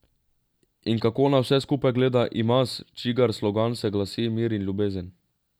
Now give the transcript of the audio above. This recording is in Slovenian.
In kako na vse skupaj gleda Imaz, čigar slogan se glasi Mir in ljubezen?